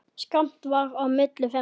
Skammt varð á milli þeirra.